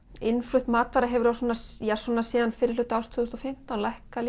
innflutt matvara hefur svona síðan á fyrri hluta árs tvö þúsund og fimmtán lækkað